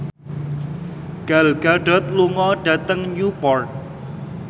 Gal Gadot lunga dhateng Newport